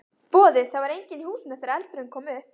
Boði: Það var enginn í húsinu þegar eldurinn kom upp?